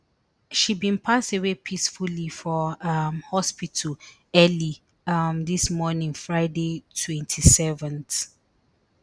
she bin pass away peacefully for um hospital early um dis morning friday twenty-seventh